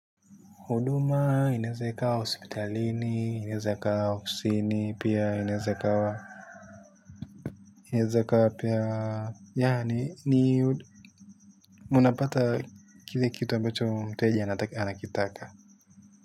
Uduma, inaeza ikawa hospitalini, inaeza ikawa ofsini, pia inaeza ikawa, inaeza ikawa pia, yaani munapata kile kitu ambacho mteja anakitaka.